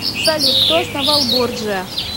салют кто основал борджиа